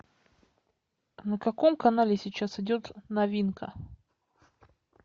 на каком канале сейчас идет новинка